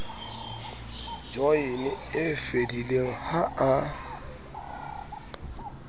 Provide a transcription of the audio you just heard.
joyene e fedileng ha a